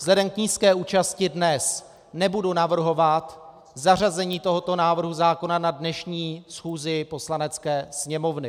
Vzhledem k nízké účasti dnes nebudu navrhovat zařazení tohoto návrhu zákona na dnešní schůzi Poslanecké sněmovny.